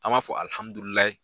An b'a fɔ